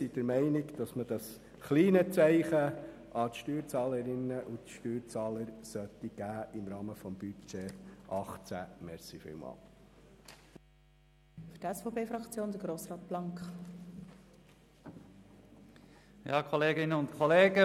Dieses kleine Zeichen an die Steuerzahlerinnen und Steuerzahler sollte im Rahmen des Budgets 2018 wirklich gesetzt werden.